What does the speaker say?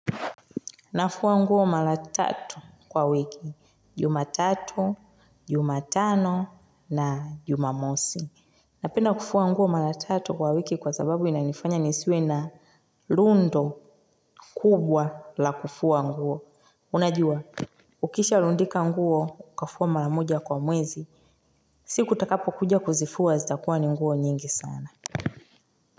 Nafuwa nguo mara tatu kwa wiki. Juma tatu, jumatano na jumamosi. Napenda kufua nguo mara tatu kwa wiki kwa zababu inanifanya nisiwe na rundo kubwa la kufuwa nguo. Unajua, ukisha lundika nguo, ukafua mara moja kwa mwezi. Siku utakapo kuja kuzifuwa, zitakuwa ni nguo nyingi sana.